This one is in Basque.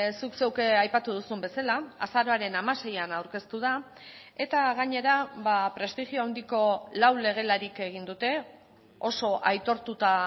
zuk zeuk aipatu duzun bezala azaroaren hamaseian aurkeztu da eta gainera prestigio handiko lau legelarik egin dute oso aitortuta